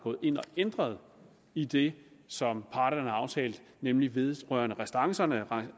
ændret i det som parterne har aftalt nemlig vedrørende restancerne